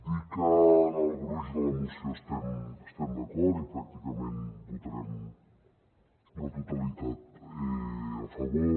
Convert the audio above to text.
dir que en el gruix de la moció hi estem d’acord i pràcticament votarem la totalitat a favor